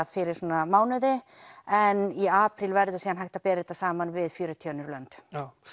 fyrir svona mánuði en í apríl verður síðan hægt að bera þetta saman við fjörutíu önnur lönd